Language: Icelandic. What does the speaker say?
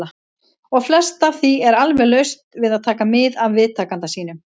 . og flest af því er alveg laust við að taka mið af viðtakanda sínum.